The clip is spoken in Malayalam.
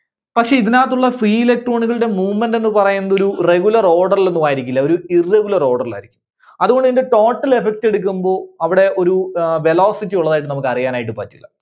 പക്ഷേ ഇതിനകത്തുള്ള free electron കളുടെ movement എന്ന് പറയുന്നത് ഒരു regular order ൽ ഒന്നുമായിരിക്കില്ല. ഒരു irregular order ൽ ആയിരിക്കും. അതുകൊണ്ട് ഇതിന്റെ total effect എടുക്കുമ്പോ അവിടെ ഒരു അഹ് velocity ഉള്ളതായിട്ട് നമുക്ക് അറിയാനായിട്ട് പറ്റില്ല.